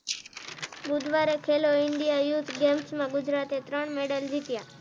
બુધવારે Khelo India youth games માં ગુજરાતે ત્રણ મેડલ જીત્યા